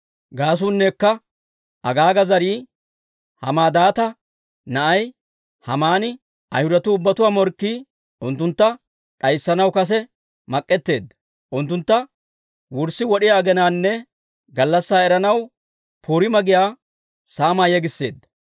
Gaasuunnekka Agaaga zarii Hammadaata na'ay Haamani, Ayhudatuu ubbatuwaa morkkii, unttuntta d'ayssanaw kase mak'etteedda; unttuntta wurssi wod'iyaa aginaanne gallassaa eranaw Puriima giyaa saamaa yegisseedda.